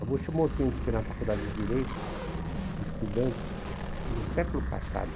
A Bocha é um movimento que tem na Faculdade de Direito, de estudantes, do século passado.